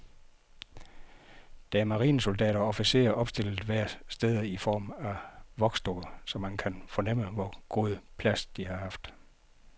Der er marinesoldater og officerer opstillet flere steder i form af voksdukker, så man kan fornemme, hvor god plads de har haft.